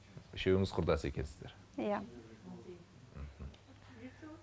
үшеуіңіз құрдас екенсіздер иә мхм